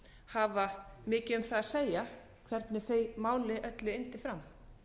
hafa mikið um það að segja hvernig því máli öllu yndi fram